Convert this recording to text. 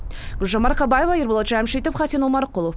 гүлжан марқабаева ерболат жамшитов хасен омарқұлов